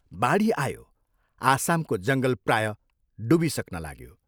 बाढी आयो आसामको जङ्गल प्रायः डुबिसक्न लाग्यो।